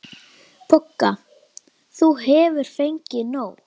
BOGGA: Þú hefur fengið nóg.